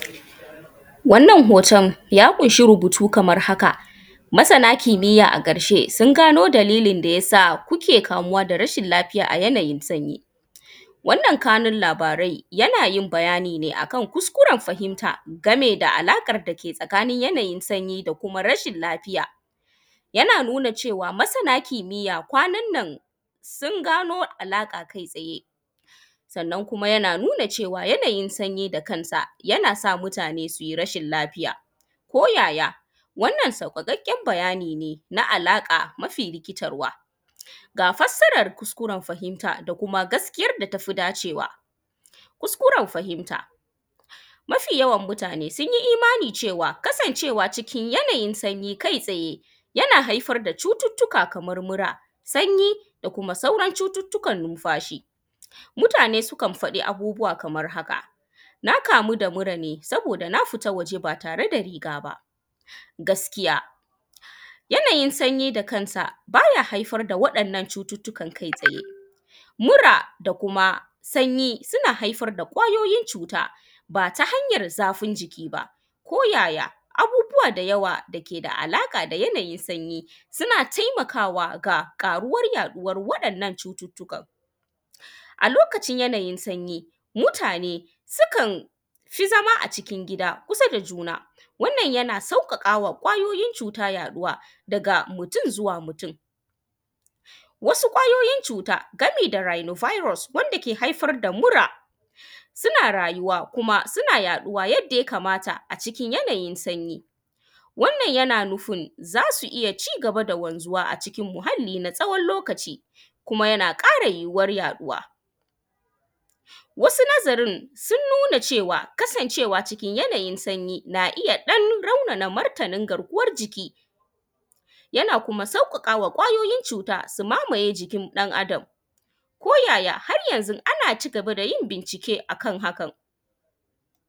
Wannan hoton ya ƙunshi rubutu kaman haka masana kimiya a ƙarshe sungano dalilin da yasa suke kamuwa da rashin lafiya a yanayin sanyi wannan kanun labaran yanayin bayanine akan kuskuren fahimta game da alƙan dake tsakanin yanayin sanyi da rashin lafiya yana nuna cewa masana kimiya kwannanan sun gamo alaƙa kai tsaye sannan yana nuna kai tsaye yana nuana yanayin sanyi haka yanasa mutane suyi rashin lafiya koyaya wannan sauwaƙaƙen bayani na alaƙa mafi rikitarwa ga fassaran kuskuren fahimta da kuma wanda tafi dacewa kuskuren fahimta mafi yawan mutane sunyi imani cewa kasancea cikin yanayin sanyi yana haifar da cututtuka kaman haka sanyi da kuma sauran cututtukan nunfashi mutane sukan faɗi abubuwa kaman haka na kamu da murane saboda na fita ba tare da rigaba gaskiya yananin sanyi da kansa baya haifar da wa’yannan cutukan kai tsaye mura da kuma sanyi suna haifar da kwayoyin cuta bata hanyar zafin jikiba koyaya abubuwa da yawa sukeda alaƙa da yanayin sanyiba suna taimakawa da ƙaruwan yaɗuwan wa’yannan cututtukan alokacin yanayin sanyi mutane sukanfi zama a gida kusa da juna wannan yana sauwaƙa ma kwayoyin cuta yaɗuwa daga mutun zuwa mutun wasu kwayoyin cuta gami da rani virus dake haifar da mura suna rayuwa kuma suna yaɗuwa yanda yakamata cikin yanayin sanyi wannan yana nufin zasu cigaba da wanzuwa a cikin muhalli na tsawan lokaci kuma yana ƙara yohuwan yaɗuwa wasu nazarin sunnunwa cewa ksancea cikin yanayin sanyi naiya ɗan raunana yanayin garkuwan jiki yana kuma sauƙaƙama kwayoyin cuta su mamaye jikin ɗan adam ko yaya haryanzon acigaba da bincike a kan hakan.